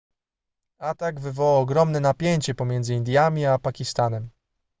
atak wywołał ogromne napięcie pomiędzy indiami a pakistanem